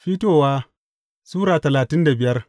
Fitowa Sura talatin da biyar